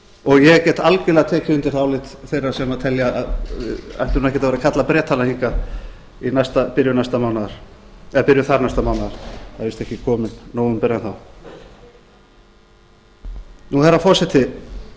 og ég get algjörlega tekið undir það álit þeirra sem telja að við ættum ekkert að vera að kalla bretana hingað í byrjun næsta mánaðar eða byrjun þar næsta mánaðar það er víst ekki kominn nóvember enn þá herra forseti